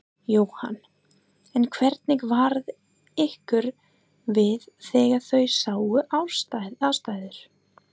Jóhann: En hvernig varð ykkur við þegar þið sáuð aðstæður?